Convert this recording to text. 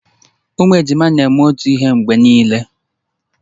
Ụmụ ejima na-eme otu ihe mgbe niile